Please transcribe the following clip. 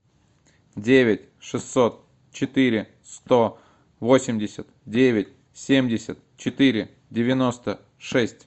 девять шестьсот четыре сто восемьдесят девять семьдесят четыре девяносто шесть